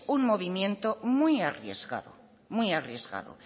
un movimiento muy arriesgado muy arriesgado